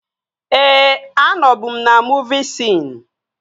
Ee, anọbu m na muuvi siin